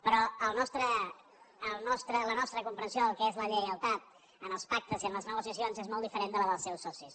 però la nostra comprensió del què és la lleialtat en els pactes i en les negociacions és molt diferent de la dels seus socis